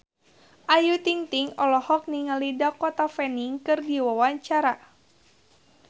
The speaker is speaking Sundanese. Ayu Ting-ting olohok ningali Dakota Fanning keur diwawancara